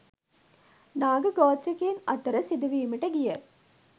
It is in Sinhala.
නාග ගෝත්‍රිකයින් අතර සිදුවීමට ගිය